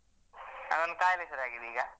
ಅದು ಒಂದು ಕಾಯಿಲೆ ಶುರು ಆಗಿದೆ ಈಗ.